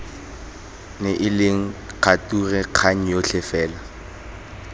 neileng kgature kgang yotlhe fela